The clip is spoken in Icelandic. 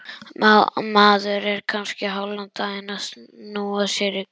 Maður er kannski hálfan daginn að snúa sér í gang.